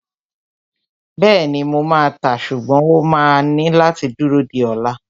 Bẹ́ẹ̀ni, mo máa tàá, ṣùgbọ́n o máa ní láti dúró di ola